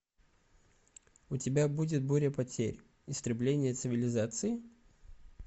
у тебя будет буря потерь истребление цивилизации